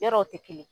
Yɔrɔw tɛ kelen ye